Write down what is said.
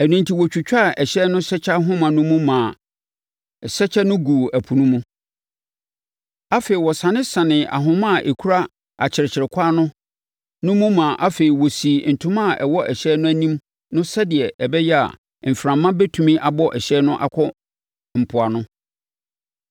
Ɛno enti, wɔtwitwaa hyɛn no asɛkyɛ nhoma no mu maa asɛkyɛ no guu ɛpo mu. Afei, wɔsanesanee ahoma a ɛkura akyerɛkyerɛkwan no mu na afei wɔsii ntoma a ɛwɔ ɛhyɛn no anim no sɛdeɛ ɛbɛyɛ a, mframa bɛtumi abɔ hyɛn no akɔ mpoano.